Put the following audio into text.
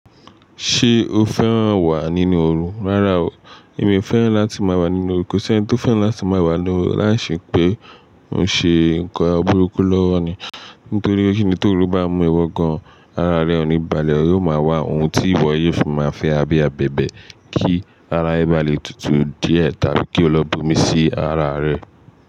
Ṣé o fẹ́ràn wà nínú ooru? Rárá o, èmi fẹ́ràn láti máa wà nínú ooru ko si eniti tó fẹ́ràn láti máa wà nínú ooru láìsí pé ó ń ṣe nǹkan burúkú lọ́wọ́ ni. Nítorí pé ti ooru bá mú ẹ wọ gan, ara rẹ ò ní balẹ̀, ó máa wá ohun tí ìwọ yóò fi máa fẹ́ ara bi i abẹ̀bẹ̀ kí ara ẹ bá le tutù díẹ̀ tàbí kí o lọ bu omi sí ara rẹ.